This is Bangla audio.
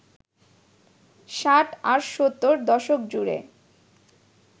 ষাট আর সত্তর দশক জুড়ে